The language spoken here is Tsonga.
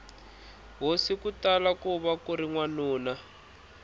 hosi kutala kuva kuri wanuna